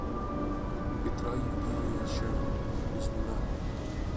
петра евгеньевича кузьмина